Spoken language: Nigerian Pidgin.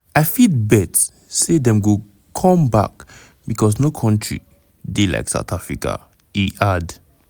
"i fit bet say dem go come back because no country dey like south africa" e add.